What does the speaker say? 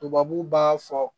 Tubabu b'a fɔ